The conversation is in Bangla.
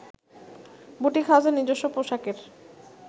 বুটিক হাউসের নিজস্ব পোশাকের